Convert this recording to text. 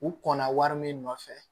U kɔnna wari min nɔfɛ